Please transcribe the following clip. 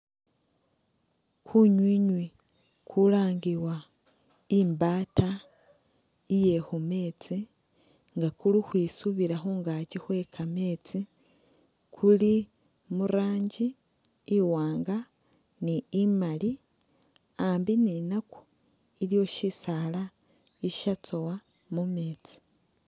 Kunywinywi kulangiwa i'mbaata iye mu meetsi nga kuli ukhwisubila khungaakyi khwe kameetsi kuli muranji iwaanga ni bumali, ambi ninakwa iliwo shisaala ishatsowa mu meetsi.